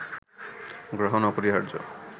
গ্রহণ অপরিহার্য